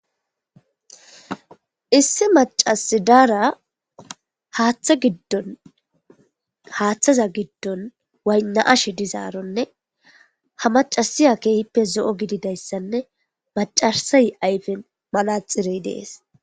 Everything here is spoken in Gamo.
Issi macasi daara haaththa giddon haaththaza giddon waynna7ashe dizaaronne ha macasiya keehippe zo7o gididayssanne maccasey ayfen manaxxirey dees.